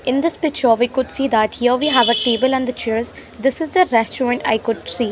in this picture we could see that here we have a table and chairs this is the restaurant i could see .